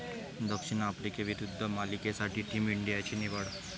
दक्षिण आफ्रिकेविरुद्ध मालिकेसाठी टीम इंडियाची निवड